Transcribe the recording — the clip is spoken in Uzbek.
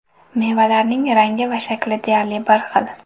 Mevalarning rangi va shakli deyarli bir xil.